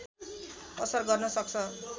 असर गर्न सक्छ